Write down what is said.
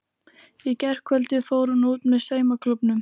Í gærkvöldi fór hún út með saumaklúbbnum.